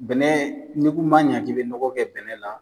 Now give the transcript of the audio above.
Bɛnɛ ni n ko n b'a ɲɛ kelen nɔgɔ kɛ bɛnɛ na